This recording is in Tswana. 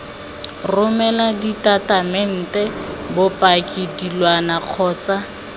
romela ditatamente bopaki dilwana kgotsa